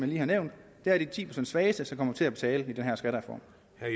lige har nævnt at det er de ti procent svageste som kommer til at betale i den her skattereform